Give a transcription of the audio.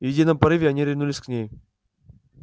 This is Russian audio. в едином порыве они ринулись к ней